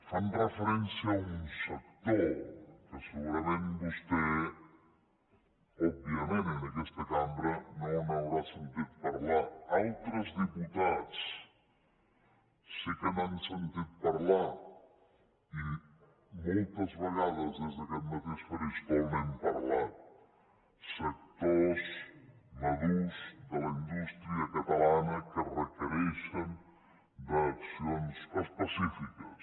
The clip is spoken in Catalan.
fan referència a un sector que segurament vostè òbviament en aquesta cambra no deu haver sentit a parlar altres diputats sí que n’han sentit a parlar i moltes vegades des d’aquest mateix faristol n’hem parlat sectors madurs de la indústria catalana que requereixen accions específiques